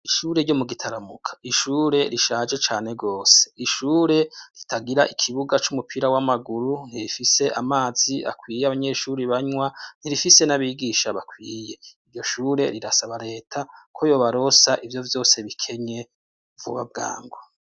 Ishure ryo mu gitaramuka, ishure rishaje cane gose, ishure ritagira ikibuga c'umupira w'amaguru ntifise amazi akwiye abanyeshuri banywa ntirifise n'abigisha bakwiye, iryo shure rirasaba reta ko yobarosa ivyo vyose bikenye vuba bwango.